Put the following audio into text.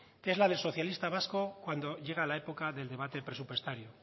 que es la de socialista vasco cuando llega la época del debate presupuestario